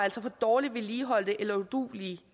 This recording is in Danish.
fra dårligt vedligeholdte eller uduelige